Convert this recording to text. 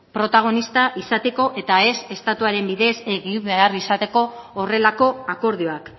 protagonista izateko eta ez estatuaren bidez egin behar izateko horrelako akordioak